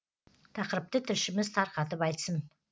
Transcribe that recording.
тақырыпты тілшіміз тарқатып айтсын